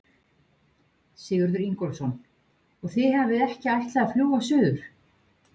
Sigurður Ingólfsson: Og þið hafið ekki ætlað að fljúga suður?